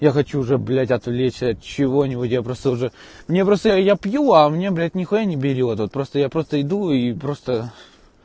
я хочу уже блять отвлечься от чего-нибудь я просто уже мне просто я пью а мне блять нехуя не берет вот просто я просто иду и просто